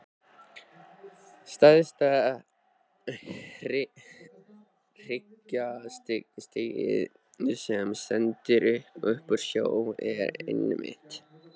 Stærsta hryggjarstykkið, sem stendur upp úr sjó, er einmitt